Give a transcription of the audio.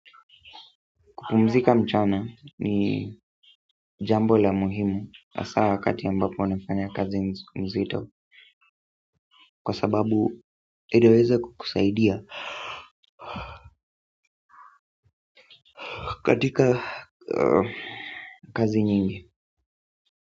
Kupumzika mchana ni jambo la muhimu hasaa wakati ambapo nafanya kazi mzito kwa sababu inaweza kukusaidia katika kazi nyingi.